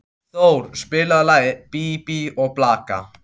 Thor, spilaðu lagið „Bí bí og blaka“.